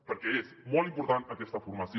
perquè és molt important aquesta formació